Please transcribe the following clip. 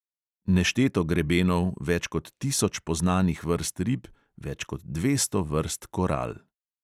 Nešteto grebenov, več kot tisoč poznanih vrst rib, več kot dvesto vrst koral …